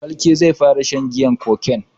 Falke zai fara shan giyan heineken.